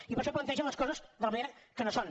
i per això plantegen les coses de la manera que no són